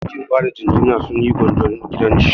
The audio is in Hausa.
Bankin bada jingina sun yi gwanjon gidan shi.